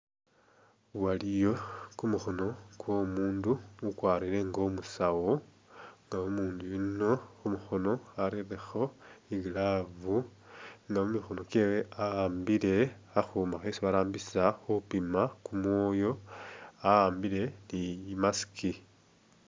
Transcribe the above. Waliyo gumukhono kwo umundu ugwarile inga umusawo nga umundu yuno khumukhono arelekho i'glove nga mumikhono gyewe ahambile khakhuma khesi barambisa khupima kumwoyo ahambile ni i'mask.